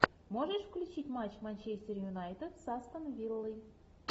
можешь включить матч манчестер юнайтед с астон виллой